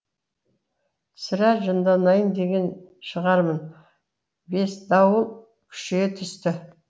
сірә жынданайын деген шығармын бес дауыл күшейе түсті